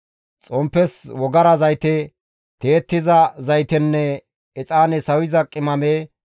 xomppes wogara zayte, tiyettiza zaytenne exaane sawiza qimame,